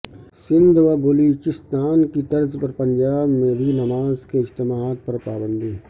سندھ و بلوچستان کی طرز پر پنجاب میں بھی نماز کے اجتماعات پر پابندی